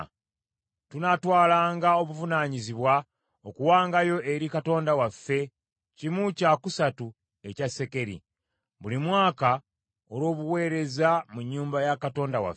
“Tunaatwalanga obuvunaanyizibwa okuwangayo eri Katonda waffe kimu kya kusatu ekya sekeri buli mwaka olw’obuweereza mu nnyumba ya Katonda waffe: